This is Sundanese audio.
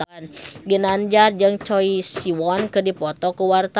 Ginanjar jeung Choi Siwon keur dipoto ku wartawan